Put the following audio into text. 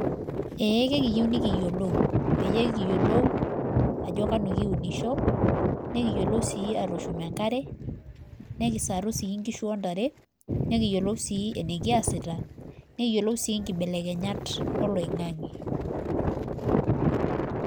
Eee ekiyieu nikiyiolou peyie kiyiolou ajo kanu kiunisho nikiyiolou sii atushum enkare nekisaru sii nkishu ontare , nekiyiolou sii enikisaisaita , nekiyiolou sii nkibelkenyata oloingange .